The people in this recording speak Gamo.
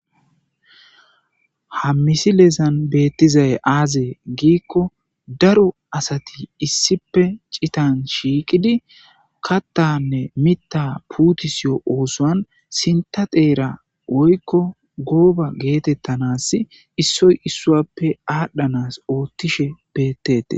ha misilezan beettizay aaze giikko daro asati issipe citan shiiqidi kattanne mitta puutisiyo oosoan sinta xeera woykko gooba geetettanas issoy issuappe aadhdhanas oottishe bettetes